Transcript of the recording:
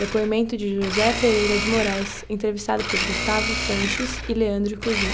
Depoimento de, entrevistado por e.